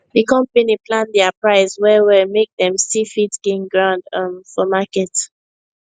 the company plan their price well well make dem still fit gain ground um for market